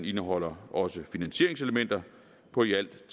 indeholder også finansieringselementer på i alt